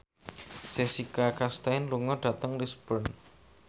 Jessica Chastain lunga dhateng Lisburn